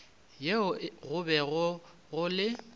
yeo go bego go le